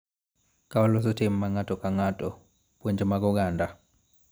Ka waloso tim mar ng�ato ka ng�ato, puonj mag oganda,